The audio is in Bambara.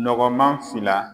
Nɔgɔnma fila